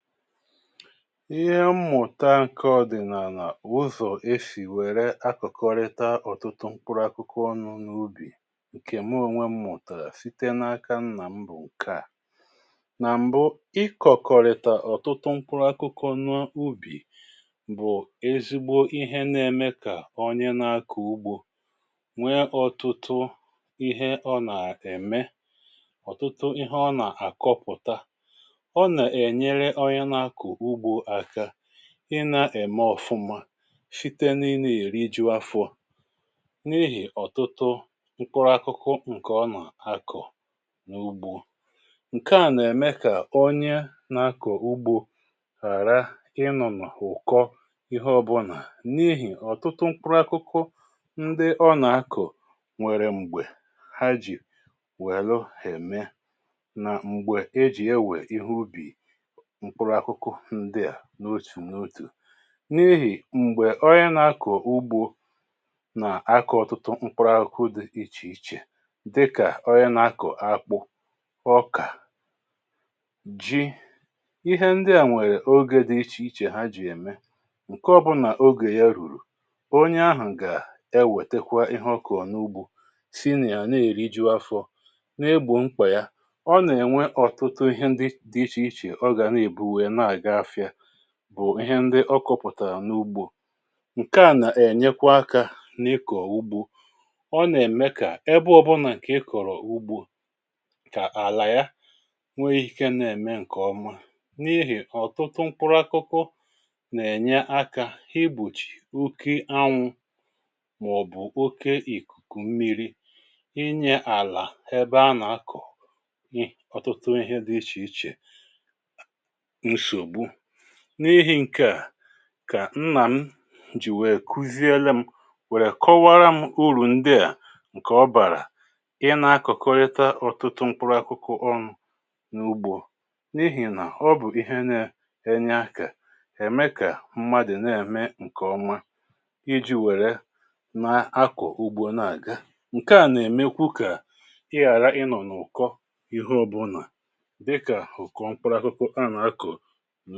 Ihe mmụ̀ta nke ọdị̀naàna wụ ụzọ̀ e sì wère akụ̀kọrịta ọ̀tụtụ mkpụrụ akụkọ ọnụ n’ubì ǹkè mụ onwe mụ̀tara site n’aka nnà m bụ̀ ǹke à. Nà m̀bụ, ikọ̀kọrịta ọ̀tụtụ mkpụrụ akụkọ n’ubì bụ̀ ezigbo ihe nà-ème kà ọnye nà-akà ugbȯ nwe ọ̀tụtụ ihe ọ nà-ème, ọ̀tụtụ ihe ọ̀nà-àkọpụ̀ta. Ọ nà-ènyére ónyé na-akpọ ugbo aka ị na-ème ofụma site n’ime èrijú afọ n’ihì ọ̀tụtụ mkpụrụ akụkụ ǹkè ọ nà-akọ̀ n’ugbȯ. Nke à nà-ème kà onye na-akọ̀ ugbȯ ghàra ịnọ̀ n’ụ̀kọ ihe ọbụnà n’ihì ọ̀tụtụ mkpụrụ akụkụ ndị ọ nà-akọ̀ nwèrè m̀gbè ha jì wèlu ème nà m̀gbè e jì ewè ihe ubì mkpụrụ akụkụ ǹdịa n’òtù n’òtù. N’ihì m̀gbè onye nà-akọ̀ ugbȯ nà akọ̀ ọ̀tụtụ mkpụrụ aụkụ di ichè ichè dịkà ọnye nà-akọ̀ akpụ, ọkà, ji. Ihe ndị à nwèrè ogė dị ichè ichè ha jì ème, ǹke ọbụlà ogè ya rùrù, onye ahụ̀ gà-ewètèkwa ihe ọkọ̀rọ̀ n’ugbȯ si nà ya na-èriju afọ, na-egbò mkpà ya, ọ nà-ènwe ọ̀tụtụ ihe ndi dị ichè ichè ọ ga na-ebu wéé na-àgá afịa, bụ̀ ihe ndị ọkọpụ̀tàra n’ugbo. Nke à nà-ènyekwa akȧ n’ịkọ̀ ugbo. Ọ nà-èmé kà ebe ọbụnà ịkọ̀rọ̀ ugbo, kà àlà ya nwee ike nà-ème ǹkè ọma, n’ihì ọ̀tụtụ mkpụrụ akụkụ nà-ènye akȧ igbochì oke ánwụ màọ̀bụ̀ oke ìkùkù mmirí, inye àlà ebe a nà-akọ̀ ọtụtụ ihe dị ichè ichè nsogbu. N’ihì ǹkè a, kà nnà m jì wèe kuziele m, wèrè kọwaara m urù ndị à ǹkè ọ bàrà ịnȧ-akọ̀kọrịta ọ̀tụtụ́mkpụrụ akụkụ ọnụ n’ugbȯ n’ihì nà ọ bụ̀ ihe nȧ enye áka èmé kà m̀mádụ nà-ème ǹkèọma ijí wère na-akụ̀ ugbo na-àga. Nke à nà-èmekwu kà ị ghàra ịnọ̀ n’ụ̀kọ́ihe ọbụnà dịkà ụ̀kọ́mkpụrụ akụkụ a nà-akụ̀.